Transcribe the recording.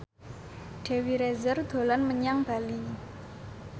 Dewi Rezer dolan menyang Bali